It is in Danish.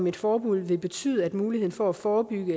et forbud vil betyde at muligheden for at forebygge